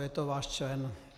Je to váš člen.